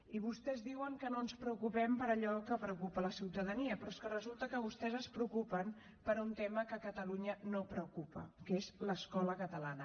i vostès diuen que no ens preocupem per allò que preocupa la ciutadania però és que resulta que vostès es preocupen per un tema que a catalunya no preocupa que és l’escola catalana